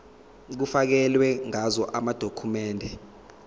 kufakelwe ngazo amadokhumende